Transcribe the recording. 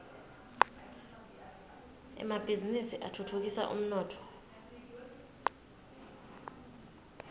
emabhizinisi atfutfukisa umnotfo